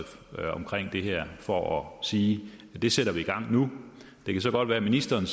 om det her for at sige at det sætter vi i gang nu det kan godt være at ministeren